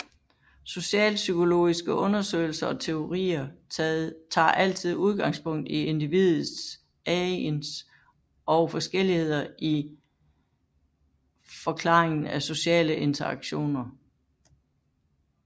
Socialpsykologiske undersøgelser og teorier tager altid udgangspunkt i individet agens og forskelligheder i forklaringen af sociale interaktioner